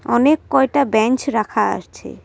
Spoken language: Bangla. অনেক কয়টা বেঞ্চ রাখা আছে।